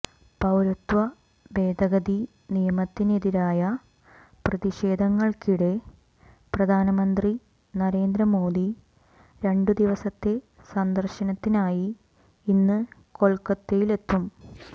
പൌരത്വ ഭേദഗതി നിയമത്തിനെതിരായ പ്രതിഷേധങ്ങൾക്കിടെ പ്രധാനമന്ത്രി നരേന്ദ്ര മോദി രണ്ടു ദിവസത്തെ സന്ദർശനത്തിനായി ഇന്ന് കൊൽക്കത്തയിലെത്തും